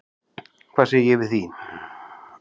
Hvað segi ég við því?